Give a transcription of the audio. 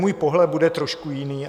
Můj pohled bude trošku jiný.